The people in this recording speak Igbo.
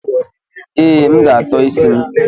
Ee, M ga-atọ isi m.